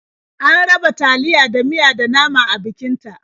An raba taliya da miya da nama a bikin ta.